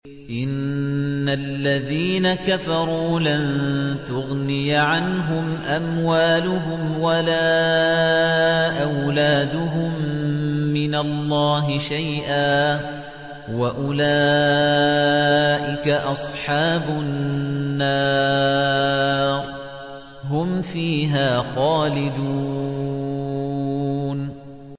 إِنَّ الَّذِينَ كَفَرُوا لَن تُغْنِيَ عَنْهُمْ أَمْوَالُهُمْ وَلَا أَوْلَادُهُم مِّنَ اللَّهِ شَيْئًا ۖ وَأُولَٰئِكَ أَصْحَابُ النَّارِ ۚ هُمْ فِيهَا خَالِدُونَ